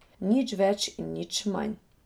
Nič več in nič manj.